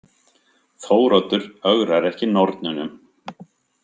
Þóroddur ögrar ekki nornunum.